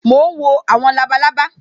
Mo ń wo àwọn labalábá